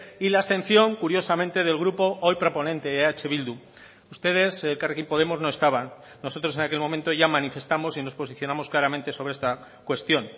y la abstención curiosamente del grupo hoy proponente eh bildu ustedes elkarrekin podemos no estaban nosotros en aquel momento ya manifestamos y nos posicionamos claramente sobre esta cuestión